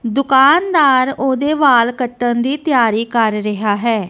ਦੁਕਾਨਦਾਰ ਓਹਦੇ ਵਾਲ ਕੱਟਣ ਦੀ ਤਿਯਾਰੀ ਕਰ ਰਿਹਾ ਹੈ।